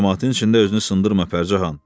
Camaatın içində özünü sındırma, Pərcəhan.